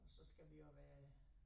Og så skal vi jo være